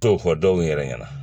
To fɔ dɔw yɛrɛ ɲɛna